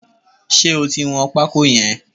Ṣé o ti wọn pákó yẹn?